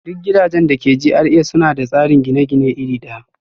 Duk gidajen da ke GRA suna da tsarin gine-gine iri ɗaya